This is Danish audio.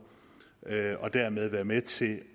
og dermed være med til